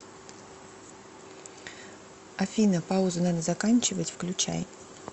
афина паузу надо заканчивать включай